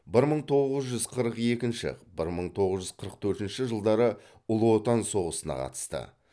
бір мың тоғыз жүз қырық екінші бір мың тоғыз жүз қырық төртінші жылдары ұлы отан соғысына қатысты